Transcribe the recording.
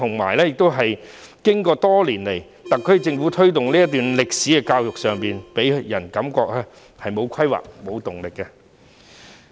然而，特區政府多年來在推動這段歷史的教育上，予人的感覺是沒有規劃、沒有動力的。